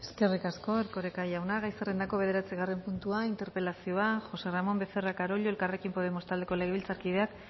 eskerrik asko erkoreka jauna gai zerrendako bederatzigarren puntua interpelazioa josé ramón becerra carollo elkarrekin podemos taldeko legebiltzarkideak